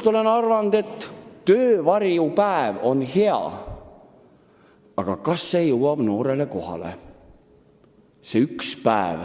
Ma olen arvanud, et töövarjupäev on hea mõte, aga kas selle ameti sisu jõuab noorele kohale, kui ta üks päev